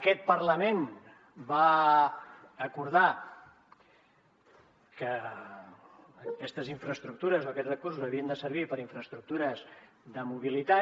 aquest parlament va acordar que aquests recursos havien de servir per a infraestructures de mobilitat